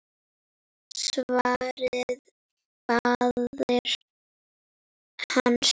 svaraði faðir hans.